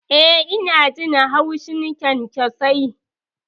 Eh, ina jin haushin kyankyasai.